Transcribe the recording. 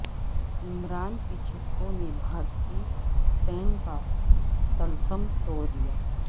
عمران کے چھکوں نے بھارتی سپن کا طلسم توڑ دیا